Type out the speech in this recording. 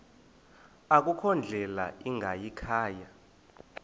akukho ndlela ingayikhaya